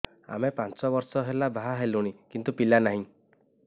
ଆମେ ପାଞ୍ଚ ବର୍ଷ ହେଲା ବାହା ହେଲୁଣି କିନ୍ତୁ ପିଲା ନାହିଁ